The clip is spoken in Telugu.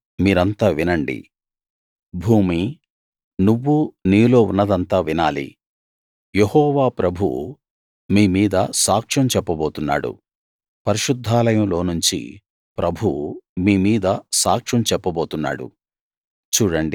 ప్రజలారా మీరంతా వినండి భూమీ నువ్వూ నీలో ఉన్నదంతా వినాలి యెహోవా ప్రభువు మీ మీద సాక్ష్యం చెప్పబోతున్నాడు పరిశుద్ధాలయంలోనుంచి ప్రభువు మీ మీద సాక్ష్యం చెప్పబోతున్నాడు